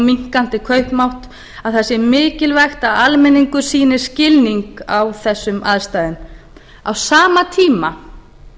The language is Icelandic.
minnkandi kaupmátt að það sé mikilvægt að almenningur sýni skilning á þessum aðstæðum á sama tíma